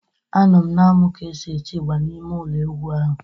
Anọ m na-amụ ka e si etị ịgba n'ime ụlọ egwu ahụ.